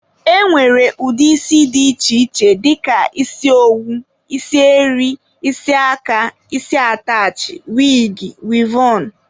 E nwere ụdị isi dị iche iche dịka isi owu, isi eri, isi aka, isi atachị, wigi, wivọn wdg.